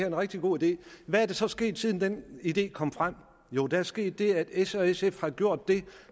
en rigtig god idé hvad er der så sket siden den idé kom frem der er sket det at s og sf har gjort det